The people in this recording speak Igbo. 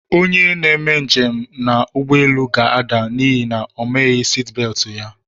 Onye na-eme njem na ụgbọelu ga-ada n'ihi na omaghi siti beeti ya.